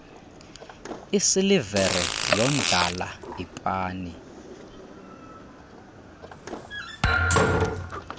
isilivere yondlala ipani